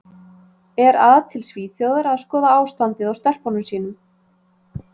Er að til Svíþjóðar að skoða ástandið á stelpunum sínum.